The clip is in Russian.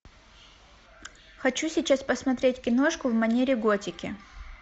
хочу сейчас посмотреть киношку в манере готики